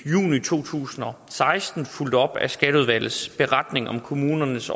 to tusind og seksten fulgt op af skatteudvalgets beretning om kommunernes